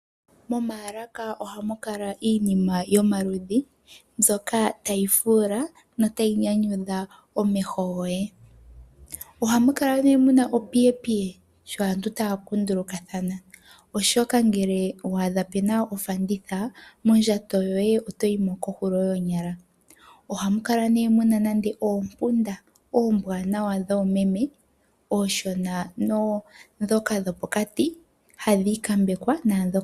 Momaalaka ohamu kala iinima yomaludhi mbyoka tayi fuula notayi nyanyudha omeho goye. Ohamu kala nduno mu na opiyepiye sho aantu taya kundulukathana, oshoka ngele wa adha mu na ofanditha, mondjato yoye oto yi mo kohulo yoonyala. Ohamu kala mu na oompunda oombwaanawa dhoomememe, oonshona naandhoka dhopokati hadhi ikambekwa.